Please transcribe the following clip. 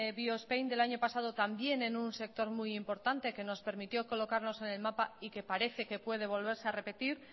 biospain del año pasado también en un sector muy importante que nos permitió colocarnos en el mapa y que parece que puede volverse a repetir